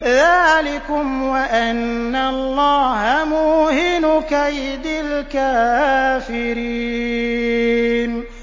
ذَٰلِكُمْ وَأَنَّ اللَّهَ مُوهِنُ كَيْدِ الْكَافِرِينَ